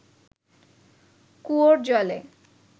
কুয়োর জলে